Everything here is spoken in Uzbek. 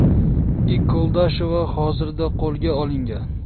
I. Koldashova hozirda qo‘lga olingan.